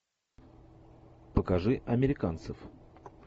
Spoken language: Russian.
покажи американцев